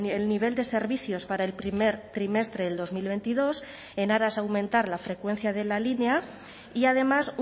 el nivel de servicios para el primer trimestre del dos mil veintidós en aras a aumentar la frecuencia de la línea y además